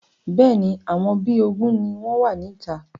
Bẹ́ẹ̀ni, àwọn bí ogún ni wọn wá ní ìta.